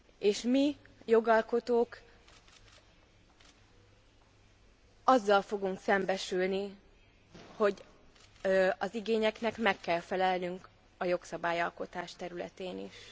És mi, jogalkotók azzal fogunk szembesülni, hogy az igényeknek meg kell felelnünk a jogszabályalkotás területén is.